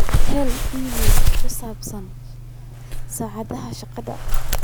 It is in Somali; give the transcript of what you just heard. hel iimayl ku saabsan saacadaha shaqada